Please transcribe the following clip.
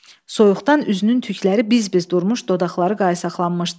Soyuqdan üzünün tükləri biz-biz durmuş, dodaqları qaysaqlanmışdı.